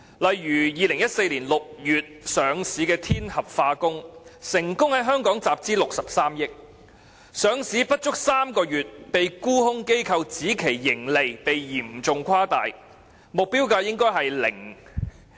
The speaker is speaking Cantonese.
例如2014年6月上市的天合化工，成功在香港集資63億元，上市不足3個月便被沽空機構指其盈利被嚴重誇大，目標價應為0元。